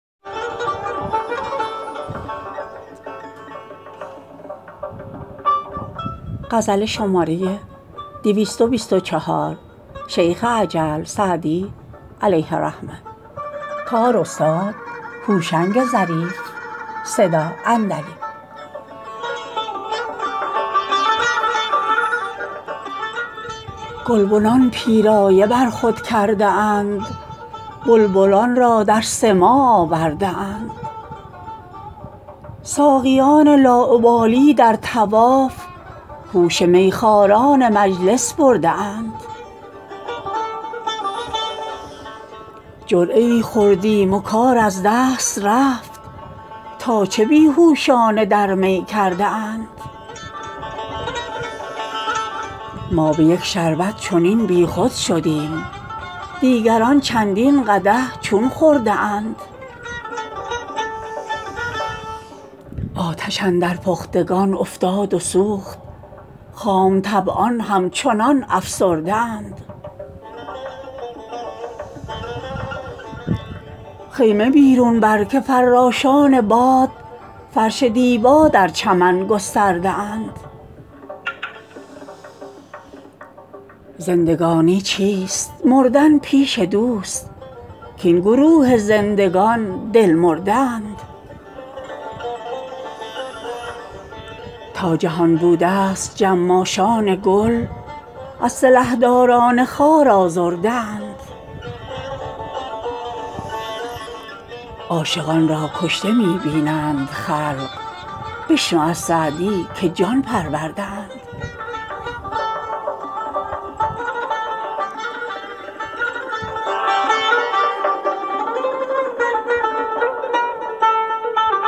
گلبنان پیرایه بر خود کرده اند بلبلان را در سماع آورده اند ساقیان لاابالی در طواف هوش میخواران مجلس برده اند جرعه ای خوردیم و کار از دست رفت تا چه بی هوشانه در می کرده اند ما به یک شربت چنین بیخود شدیم دیگران چندین قدح چون خورده اند آتش اندر پختگان افتاد و سوخت خام طبعان همچنان افسرده اند خیمه بیرون بر که فراشان باد فرش دیبا در چمن گسترده اند زندگانی چیست مردن پیش دوست کاین گروه زندگان دل مرده اند تا جهان بودست جماشان گل از سلحداران خار آزرده اند عاشقان را کشته می بینند خلق بشنو از سعدی که جان پرورده اند